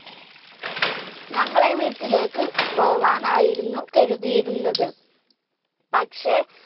ഞങ്ങളെ വീട്ടിലേക്ക് പോകാനായിരുന്നു കരുതിയിരുന്നത്, പക്ഷെ